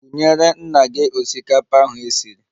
Kunyere nna gị osikapa ahu esiri!